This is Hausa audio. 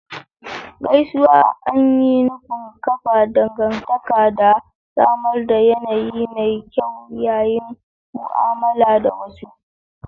Gaisuwa an yi nufin kafa dangantaka da samar da yanayi mai kyau yayin mu'amala da wasu.